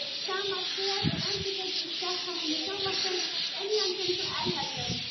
Sama stef er endurtekið í spjallþáttum í sjónvarpinu, innlendum sem erlendum.